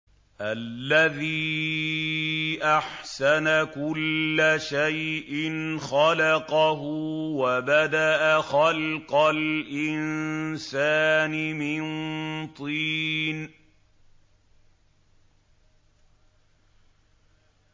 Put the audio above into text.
الَّذِي أَحْسَنَ كُلَّ شَيْءٍ خَلَقَهُ ۖ وَبَدَأَ خَلْقَ الْإِنسَانِ مِن طِينٍ